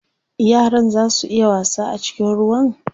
Yaran zaa su iya wasa a cikin ruwan?